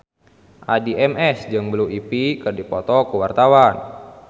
Addie MS jeung Blue Ivy keur dipoto ku wartawan